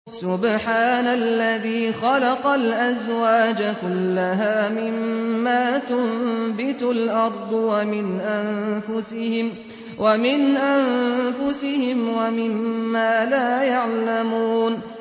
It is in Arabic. سُبْحَانَ الَّذِي خَلَقَ الْأَزْوَاجَ كُلَّهَا مِمَّا تُنبِتُ الْأَرْضُ وَمِنْ أَنفُسِهِمْ وَمِمَّا لَا يَعْلَمُونَ